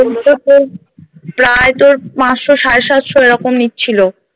প্রায় তোর পাঁচশো সাড়ে সাতশো এরকম নিচ্ছিলো